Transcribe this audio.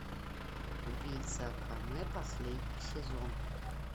убийца акаме последний сезон